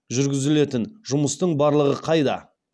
жүргізілетін жұмыстың барлығы қайда